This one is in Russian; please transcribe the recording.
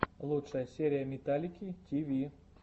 лучшая серия металлики ти ви